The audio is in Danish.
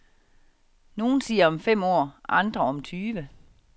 Nogle siger om fem år, andre om tyve.